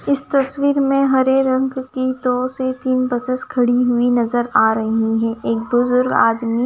इस तस्वीर में हरे रंग की दो से तीन बसेस खड़ी हुई नजर आ रही हैं एक बुजुर्ग आदमी--